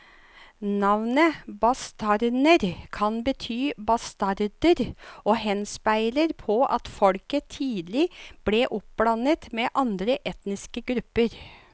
Navnet bastarner kan bety bastarder og henspeiler på at folket tidlig ble oppblandet med andre etniske grupper.